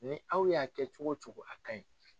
Ni aw y'a kɛ cogo wo cogo a ka ɲi.